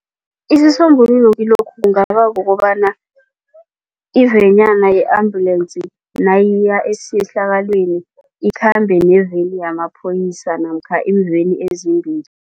Isisombululo kilokhu kungaba kukobana ivenyana ye-ambulance nayiya esehlakalweni ikhambe neveni yamaphoyisa namkha iimveni ezimbili.